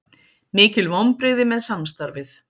Mikil vonbrigði með samstarfið